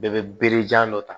Bɛɛ bɛ berejan dɔ ta